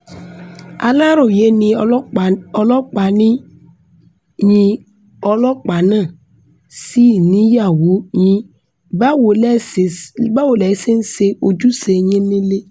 aláròye e ní ọlọ́pàá ni yín ọlọ́pàá náà sì níyàwó yín báwo lẹ ṣe ń ṣe ojúṣe yín nílẹ̀